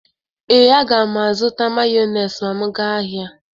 Ee, aga m azụta Mayonis ma m gaa ahịa.